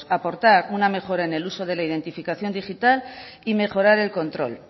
aportar una mejora en el uso de la identificación digital y mejorar el control